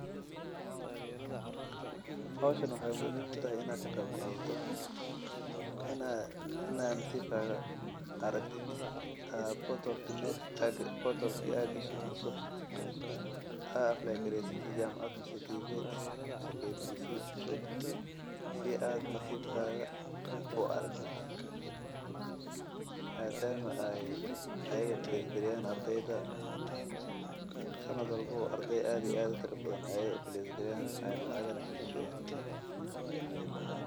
Howshan waxeey muhiim utahay in laga qeeb qaadato oo nasiib aad tijaabiso oo aad atmragtid nasibkada sanad walbo ardeey fara badan aay lacag kabixiyaan.